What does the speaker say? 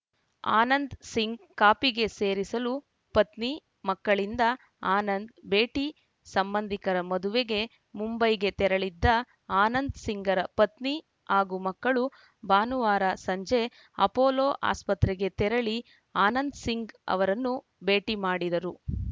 ಆನಂದ್‌ಸಿಂಗ್‌ ಕಾಪಿಗೆ ಸೇರಿಸಲು ಪತ್ನಿ ಮಕ್ಕಳಿಂದ ಆನಂದ್‌ ಭೇಟಿ ಸಂಬಂಧಿಕರ ಮದುವೆಗೆ ಮುಂಬೈಗೆ ತೆರಳಿದ್ದ ಆನಂದ್‌ ಸಿಂಗ್‌ರ ಪತ್ನಿ ಹಾಗೂ ಮಕ್ಕಳು ಭಾನುವಾರ ಸಂಜೆ ಅಪೊಲೋ ಆಸ್ಪತ್ರೆಗೆ ತೆರಳಿ ಆನಂದ್‌ ಸಿಂಗ್‌ ಅವರನ್ನು ಭೇಟಿ ಮಾಡಿದರು